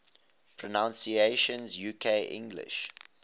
pronunciations uk english